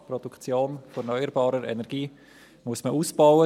Die Produktion erneuerbarer Energie muss man ausbauen.